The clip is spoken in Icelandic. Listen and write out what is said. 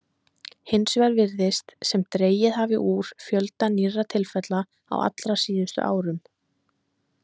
Hins vegar virðist sem dregið hafi úr fjölda nýrra tilfella á allra síðustu árum.